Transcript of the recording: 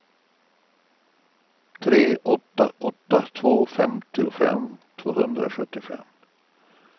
tre åtta åtta två femtiofem tvåhundrasjuttiofem